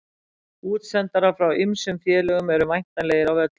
Útsendarar frá ýmsum félögum eru væntanlegir á völlinn.